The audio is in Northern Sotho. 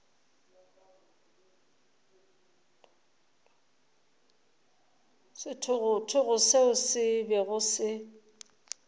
sethogothogo seo se bego se